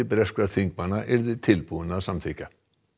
breskra þingmanna yrði tilbúinn að samþykkja